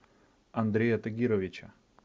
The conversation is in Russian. андрея тагировича